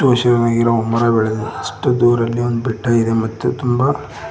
ಮರ ಬೆಳೆದಿದೆ ಅಷ್ಟ ದುರಲ್ಲಿ ಒಂದ ಬೆಟ್ಟ ಇದೆ ಮತ್ತ ತುಂಬ--